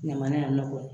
Ɲaman in nɔ